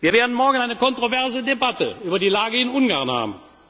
Wir werden morgen eine kontroverse Debatte über die Lage in Ungarn